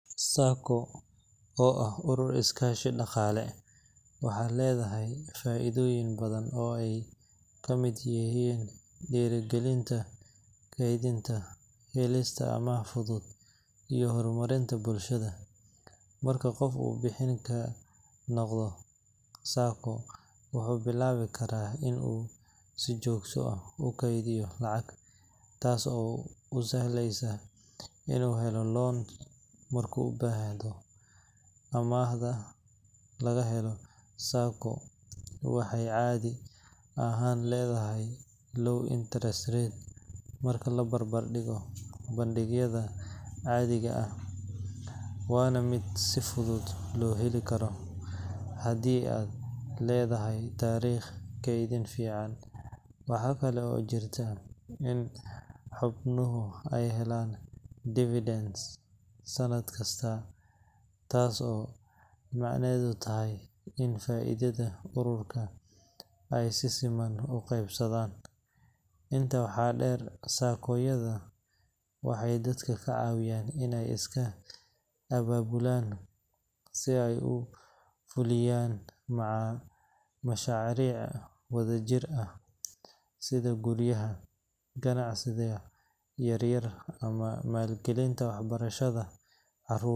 SACCO oo ah urur is kaashi daqaale, waxay ledahay faaidoyin badan oo aay kamid yihiin diiri galinta, keedinta, helista amaah fudud iyo hor marinta bulshada, marka uu qofka bixin noqdo SACCO wuxuu bilaabi karaa inuu si joogta ah ukeediya lacag taas oo usahleesa inuu helo loan, marka uu ubaahdo, amaahda laga helo SACCO waxaay caadi ahaan ledahay low interest rate marka labarbar digo bankiyada caadiga, waana mid si fudud loo heli karo, hadii aad ledahay dariiq kedin fican, waxaa kale oo jirta in xubnuhu aay helaan sanad kasta taas oo micnaheeda tahay in faidada ururka aay si siman uqeebsadaan, intaas waxaa deer SACCO waxeey dadka kacawiyaan inaay iska ababulaan si aay uhelaan mashaaric wada jir ah si guryaha, ganacsiga yaryar ama maal galinta wax barashada.